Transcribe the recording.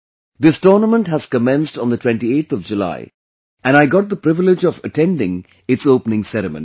This tournament has commenced on the 28th of July and I got the privilege of attending its Opening Ceremony